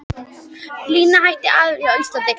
Lifnaðarhættir æðarfugls á Íslandi